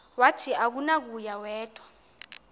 wathi akunakuya wedw